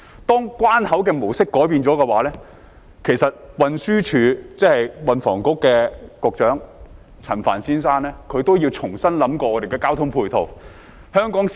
當關口的模式改變了，其實運輸及房屋局局長陳帆先生也要重新考慮交通配套。